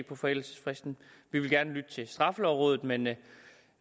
på forældelsesfristen vi vil gerne lytte til straffelovrådet men men